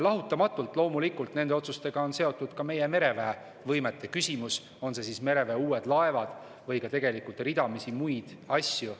Lahutamatult, loomulikult, on nende otsustega seotud ka meie mereväe võimete küsimus, on need mereväe uued laevad või ka ridamisi muid asju.